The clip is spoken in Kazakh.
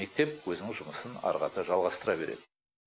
мектеп өзінің жұмысын ары қарата жалғастыра береді